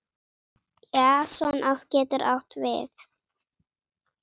Jason getur átt við